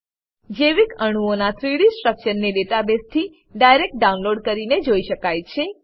જૈવિકઅણુઓના 3ડી સ્ટ્રક્ચરસ ને ડેટાબેસ થી ડાયરેક્ટ ડાઉનલોડ કરીને જોઈ શકાય છે